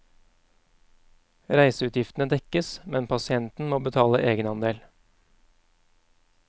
Reiseutgiftene dekkes, men pasienten må betale egenandel.